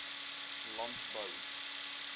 landbou